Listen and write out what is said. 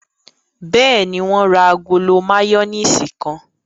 Bẹ́ẹ̀ni, wọ́n ra agolo máyónísì kan.